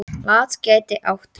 LAT gæti átt við